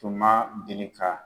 Tuma ma deli ka